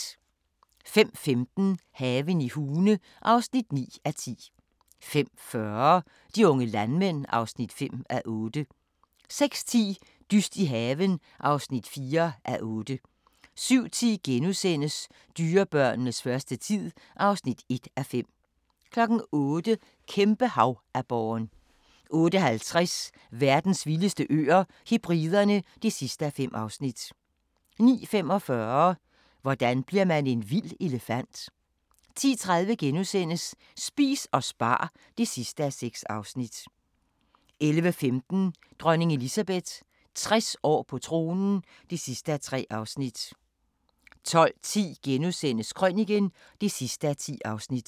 05:15: Haven i Hune (9:10) 05:40: De unge landmænd (5:8) 06:10: Dyst i haven (4:8) 07:10: Dyrebørnenes første tid (1:5)* 08:00: Kæmpe-havaborren 08:50: Verdens vildeste øer - Hebriderne (5:5) 09:45: Hvordan bliver man en vild elefant? 10:30: Spis og spar (6:6)* 11:15: Dronning Elizabeth – 60 år på tronen (3:3) 12:10: Krøniken (10:10)*